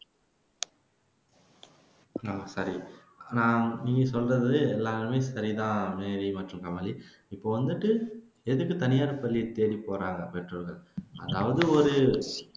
அஹ் சரி நீங்க சொல்றது எல்லாமே சரிதான் மேரிம்மா சொன்னமாதிரி இப்போ வந்துட்டு எதுக்கு தனியார் பள்ளியை தேடி போறாங்க பெற்றோர்கள் அதாவது ஒரு